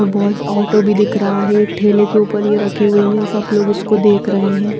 और बहुत ऑटो भी दिख रहा है एक ठेले के ऊपर ये रखी हुई है सब लोग इसको देख रहे है।